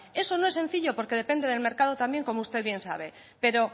eso no es sencillo porque depende del mercado también como usted bien sabe pero